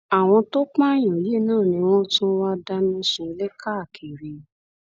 àwọn tó tó pààyàn yìí náà ni wọn tún wá ń dáná sunlé káàkiri